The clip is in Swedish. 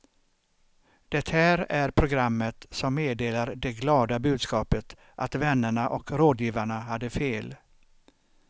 Det här är programmet som meddelar det glada budskapet att vännerna och rådgivarna hade fel.